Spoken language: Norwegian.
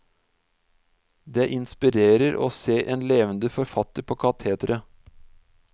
Det inspirerer å se en levende forfatter på katetret.